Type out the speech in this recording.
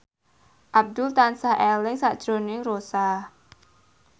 Abdul tansah eling sakjroning Rossa